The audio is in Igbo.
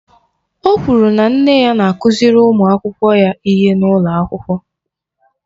Ọ kwụrụ na nne ya na-akụziri ụmụ akwụkwọ ya ihe n'ụlọ akwụkwọ.